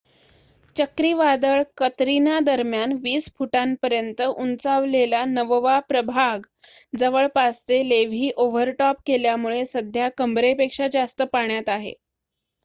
चक्रीवादळ कतरिना दरम्यान 20 फूटांपर्यंत उंचावलेला नववा प्रभाग जवळपासचे लेव्ही ओव्हर टॉप केल्यामुळे सध्या कंबरेपेक्षा जास्त पाण्यात आहे